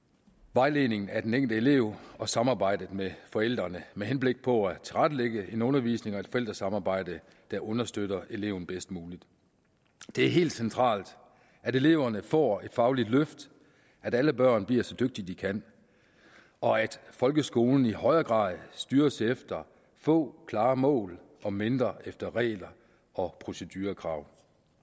vejledningen af den enkelte elev og samarbejdet med forældrene med henblik på at tilrettelægge en undervisning og et forældresamarbejde der understøtter eleven bedst muligt det er helt centralt at eleverne får et fagligt løft at alle børn bliver så dygtige de kan og at folkeskolen i højere grad styres efter få klare mål og mindre efter regler og procedurekrav